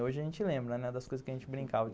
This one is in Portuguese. Hoje a gente lembra das coisas que a gente brincava.